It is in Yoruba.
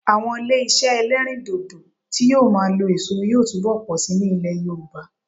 Àwọn ilé iṣẹ́ ẹlẹ́rìndòdò tí yóò máa lo èso yóò túbọ̀ pọ̀ síi ní ilẹ̀ Yorùbá